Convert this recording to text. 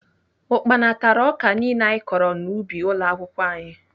Ukpana tara ọka niile anyị kọrọ n'ubi ụlọakwụkwọ anyị